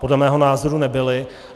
Podle mého názoru nebyly.